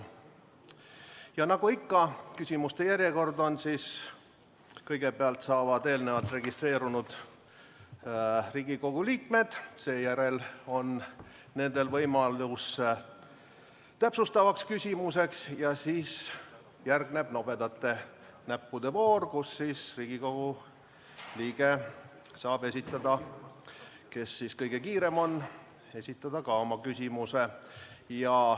Ja nagu ikka, küsimuste järjekord on selline, et kõigepealt saavad sõna eelnevalt registreerunud Riigikogu liikmed, seejärel on neil võimalus täpsustavaks küsimuseks ja järgneb nobedate näppude voor, kus Riigikogu liige, kes siis kõige kiirem on, saab esitada oma küsimuse.